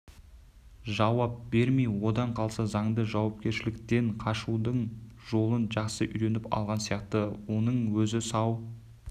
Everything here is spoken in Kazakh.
жауап бермей одан қалса заңды жауапкершіліктен қашудың жолын жақсы үйреніп алған сияқты оның өзі сау